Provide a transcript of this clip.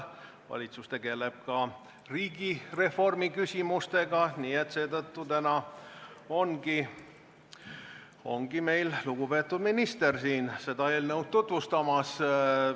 Valitsus tegeleb ka riigireformi küsimustega, nii et seetõttu täna ongi meil lugupeetud minister siin seda eelnõu tutvustamas.